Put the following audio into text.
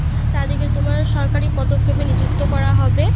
তাদের কে তোমার সরকারি পদক্ষেপে নি্যুক্ত করা হবে